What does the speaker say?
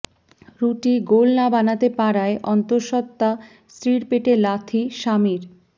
রুটি গোল না বানাতে পারায় অন্তঃসত্ত্বা স্ত্রীর পেটে লাথি স্বামীর